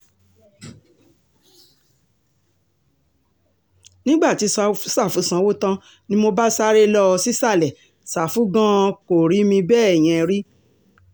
nígbà tí sáfù sanwó tán ni mo bá sáré lọ sísàlẹ̀ ṣàfù gan-an kò rí mi bẹ́ẹ̀ yẹn rí